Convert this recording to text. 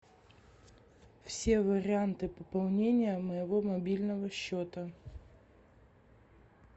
все варианты пополнения моего мобильного счета